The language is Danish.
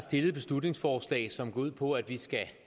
et beslutningsforslag som går ud på at vi skal